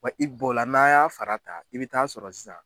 Wa i b'o la n'an y'a fara ta i bɛ taa sɔrɔ sisan.